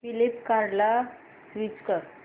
फ्लिपकार्टं ला स्विच कर